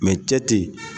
cɛ te